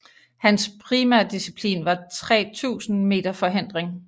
Hans primærdisciplin var 3000 meter forhindring